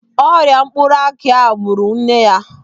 Ọrịa mkpụrụ aki ahụ gbụrụ nne ya.